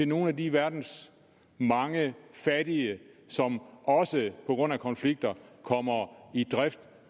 nogle af de verdens mange fattige som også på grund af konflikter kommer i drift